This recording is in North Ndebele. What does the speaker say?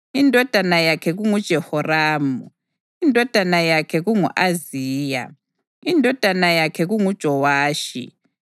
indodana yakhe kunguJehoramu, indodana yakhe kungu-Ahaziya, indodana yakhe kunguJowashi,